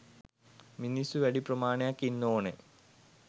මිනිස්සු වැඩි ප්‍රමාණයක් ඉන්න ඕන.